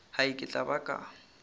hai ke tla ba ka